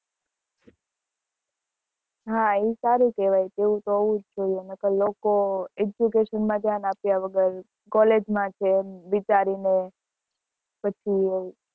હ એ સારું કેહવાય એવું તો હોવું જ જોઈએ નકાર લોકો education માં ધ્યાન આપ્યા વગર college માં છે એમ વિચારીને પછી